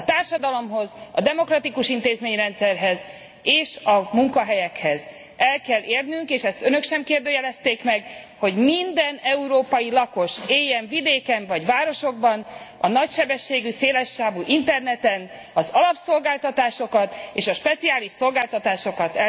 A társadalomhoz, a demokratikus intézményrendszerhez és a munkahelyekhez el kell érnünk és ezt Önök sem kérdőjelezték meg hogy minden európai lakos, éljen vidéken vagy városokban, el tudja érni a nagysebességű, széles sávú interneten az alapszolgáltatásokat és a speciális szolgáltatásokat.